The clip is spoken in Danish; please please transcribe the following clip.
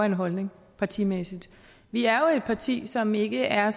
en holdning partimæssigt vi er jo et parti som ikke er